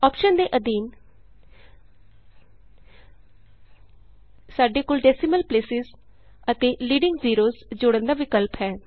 option ਦੇ ਅਧੀਨ ਸਾਡੇ ਕੋਲ ਡੈਸੀਮਲ ਪਲੇਸਿਸ ਅਤੇ ਲੀਡਿੰਗ ਜ਼ੀਰੋਜ਼ ਜੋੜਨ ਦਾ ਵਿਕਲਪ ਹੈ